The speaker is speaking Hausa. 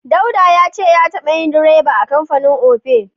Dauda ya ce ya taɓa yin direba a kamfanin Opay.